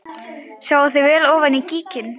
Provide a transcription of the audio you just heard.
Sjáið þið vel ofan í gíginn?